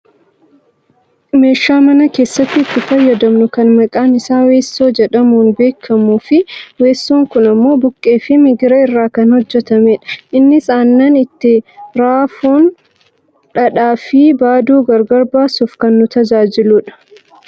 Meeshaa mana keessatti itti fayyadamnu kan maqaan isaa weessoo jedhamuun beekkamuufi weessoon kun ammoo buqqee fi migira irraa kan hojjatamedha. Innis aannan itti raafuun dhadhaafi baaduu gar gar baasuuf kan nu tajaajiludha.